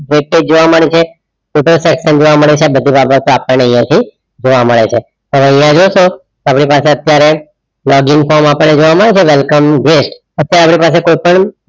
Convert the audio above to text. જોવા મળે છે total section જોવા મળે છે બધી બાબતો આપણ ને અહિયાં થી જોવા મળે છે હવે હિયા જોશો આપણી પાસે અત્યારે login form આપડે જોવા મળશે welcome guest અથવા આપણી પાસે કોઈ પણ